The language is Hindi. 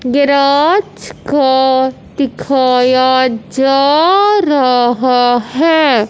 गैराज का दिखाया जा रहा है।